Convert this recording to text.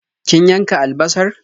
Kin yanka albasar?